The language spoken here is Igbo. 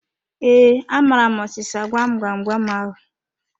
Ee, amaara m ọsịsa gwam gwam gwam ahu